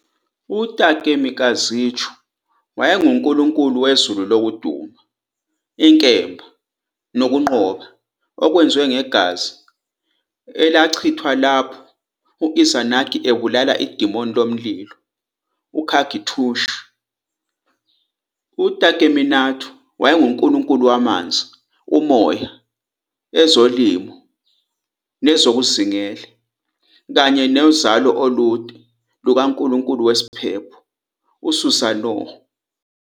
UTakemikazuchi wayengunkulunkulu wezulu lokuduma, inkemba, nokunqoba, okwenziwe ngegazi elachithwa lapho u-Izanagi ebulala idimoni lomlilo uKagu-tsuchi. UTakeminakata wayengunkulunkulu wamanzi, umoya, ezolimo nezokuzingela, kanye nozalo olude lukankulunkulu wesiphepho uSusanoo.